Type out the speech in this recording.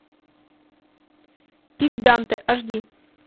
пик данте аш ди